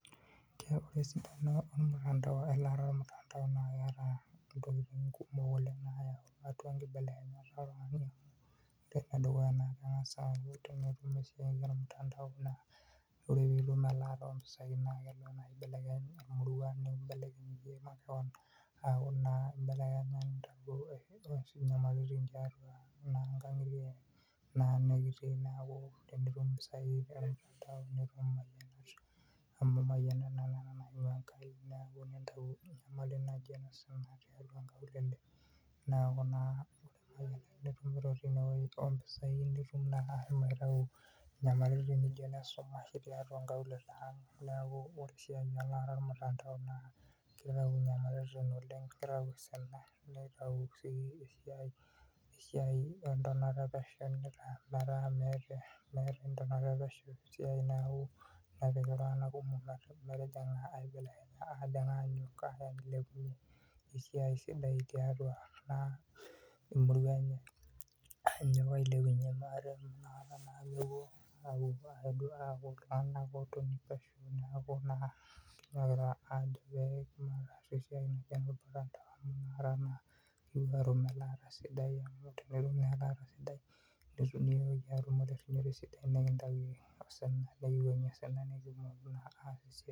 Esidano elaata olmutandao naa keeta intokitin kumok oleng nayau atua inkibelekenyat ore enedukuya naa kangas ayau, ore pee itum laata oo impesai naa kengas aibelekeny emurua o nakngitie nikiitii tinitum naa impesai nemayianisho, aitayu osina tiatua inkaulele, neeku naa itum asho aitayu inyamalitin najio isinaritin tiatua inkaulele, neeku ore esiai oo ilaramatak naa kitayu osina, ore sii esiai entonata epesho naa meeta entonata epesho esiai, esiai sidai tiatua emurua enye.